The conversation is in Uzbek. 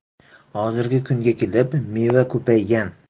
Hozirgi kunga kelib, meva ko‘paygan.